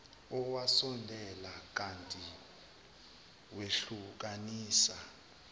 owasondela ngakithi wehlukanisa